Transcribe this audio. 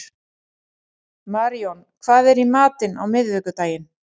Maríon, hvað er í matinn á miðvikudaginn?